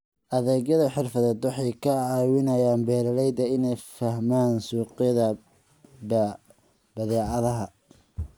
Adeegyada xirfadeed waxay ka caawiyaan beeralayda inay fahmaan suuqyada badeecadaha.